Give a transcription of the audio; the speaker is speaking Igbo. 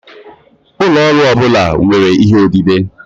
Ụlọ ọrụ ọ bụla nwere ihe odide.